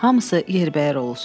Hamısı yerbəyər olsun.